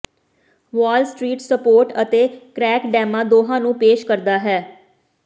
ਵਾਲ Street support ਅਤੇ crack ਡੈਮਾਂ ਦੋਹਾਂ ਨੂੰ ਪੇਸ਼ ਕਰਦਾ ਹੈ